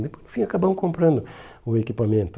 Né no fim, acabamos comprando o equipamento.